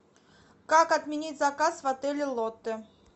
как отменить заказ в отеле лотте